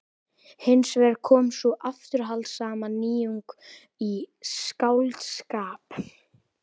Hins vegar kom sú afturhaldssama nýjung í skáldskap